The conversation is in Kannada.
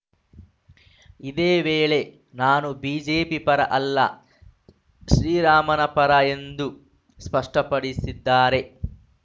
ಇದೇ ವೇಳೆ ನಾನು ಬಿಜೆಪಿ ಪರ ಅಲ್ಲ ಶ್ರೀರಾಮನ ಪರ ಎಂದು ಸ್ಪಷ್ಟಪಡಿಸಿದ್ದಾರೆ